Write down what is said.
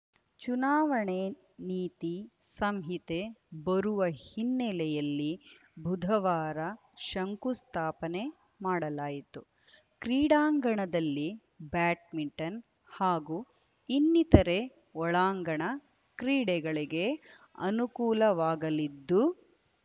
ಚುನಾವಣೆ ನೀತಿ ಸಂಹಿತೆ ಬರುವ ಹಿನ್ನೆಲೆಯಲ್ಲಿ ಬುಧವಾರ ಶಂಕುಸ್ಥಾಪನೆ ಮಾಡಲಾಯಿತು ಕ್ರೀಡಾಂಗಣದಲ್ಲಿ ಬ್ಯಾಟ್‌ಮಿಂಟನ್‌ ಹಾಗೂ ಇನ್ನಿತರೆ ಒಳಾಂಗಣ ಕ್ರೀಡೆಗಳಿಗೆ ಅನುಕಾಲವಾಗಲಿದ್ದು